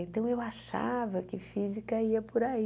Então, eu achava que física ia por aí.